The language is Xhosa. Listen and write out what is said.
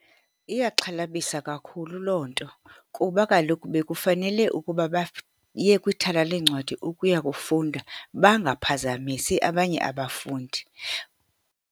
Iyaxhalabisa kakhulu loo nto, kuba kaloku bekufanele ukuba baye kwithala leencwadi ukuya kufunda, bangaphazamisi abanye abafundi.